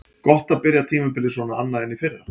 Gott að byrja tímabilið svona annað en í fyrra.